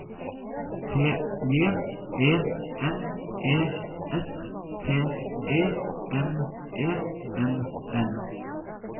T J E N E S T E M E N N